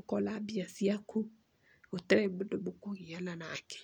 ũkona mbia ciaku gũtarĩ mũndũ mũkũgiana nake.